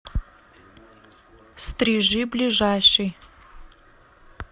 стрижи ближайший